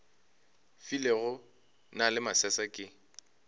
filego na le masese ke